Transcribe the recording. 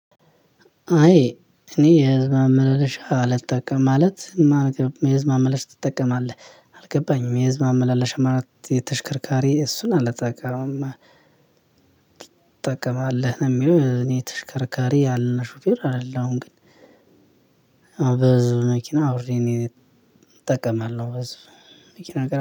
አይ እኔ የህዝብ ማመላለሻ አልጠቀም ማለት የህዝብ አመለለሽ ትጠቀማለህ? የህዝብ ማመላለሻ ማለት የተሽከርካሪ እሱን አልተቀምም። ትጠቀማለህ ነው የሚለው እኔ ተሽከርካሪ ያለው ሹፌር አይደለሁም ግን። በህዝብ መኪና አብሬ እኔ እጠቀማለሁ በህዝብ መኪና